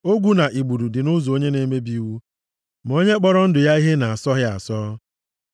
Ogwu na igbudu dị nʼụzọ onye na-emebi iwu; ma onye kpọrọ ndụ ya ihe na-asọ ya asọ.